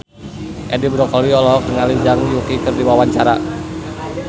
Edi Brokoli olohok ningali Zhang Yuqi keur diwawancara